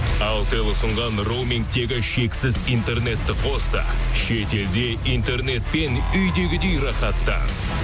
алтел ұсынған роумингтегі шексіз интернетті қос та шетелде интернетпен үйдегідей рахаттан